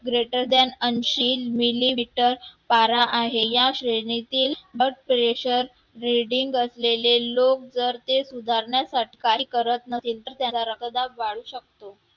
greater than ऐंशी millimetre पारा आहे, या श्रेणीतील blood pressure reading असलेले लोक जर ते सुधारण्यासाठी काही करत नसतील तर त्यांचा रक्तदाब वाढू शकतो